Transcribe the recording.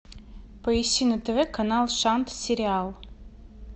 поищи на тв канал шант сериал